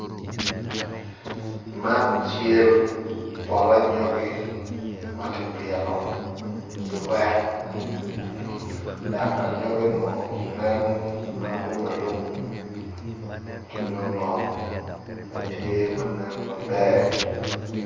Man cel poto anyogi ma kipito irek dok anyoginu nen alum alum ki dong ngom ma tye ma nen maber